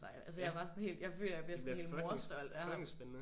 Ja det bliver fucking fucking spændende